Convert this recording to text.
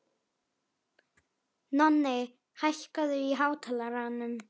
Nonni, hækkaðu í hátalaranum.